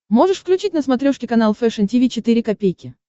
можешь включить на смотрешке канал фэшн ти ви четыре ка